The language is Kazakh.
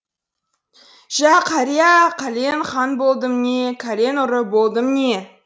жә қария кәлен хан болдым не кәлен ұры болдым не